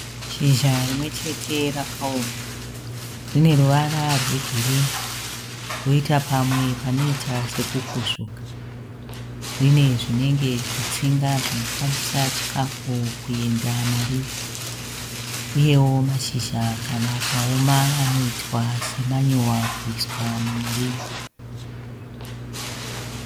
Shizha rimwe chete rakaoma, rine ruvara rwegirini, roita pamwe panoita seku kuzvuka. Rine zvinenge zvitsinga zvinofambisa chikafu kuenda mariri, uyewo mashizha kana akaoma anoitwa semanyowa kuiswa mumuriwo.